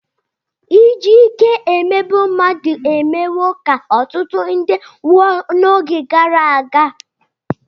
Iji ike emegbu mmadụ emewo ka ọtụtụ ndị nwụọ n'oge gara aga.